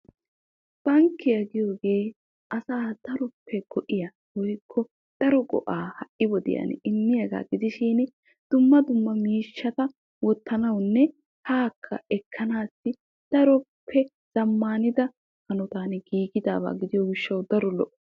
Bankkiya giyooge asaa daroppe go'iya asaa daroppe go'iya daroppe zamaaniddaga gidiyo gishawu keehi lo'oo.